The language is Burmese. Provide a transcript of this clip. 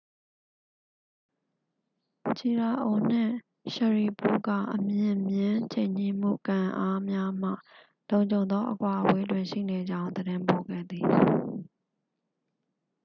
ချီရာအို နှင့် ရှရီပို့တ် က အမြင့်မျဉ်း ချိန်ညှိမှု ကန်အားများမှ လုံခြုံသော အကွာအဝေးတွင် ရှိနေကြောင်း သတင်းပို့ခဲ့သည်